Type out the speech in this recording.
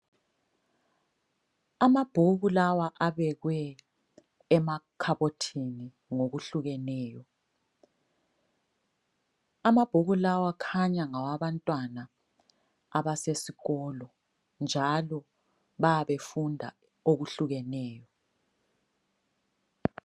Amabhuku lawa abekwe emakhabothini ngokuhlukeneyo, amabhuku lawa kukhanya ngawabantwana abasesikolo, njalo bayabe befunda okuhlukeneyo.